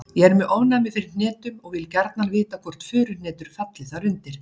Ég er með ofnæmi fyrir hnetum og vil gjarnan vita hvort furuhnetur falli þar undir.